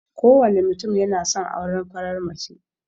Kowane mutum yana son aurar farar mace.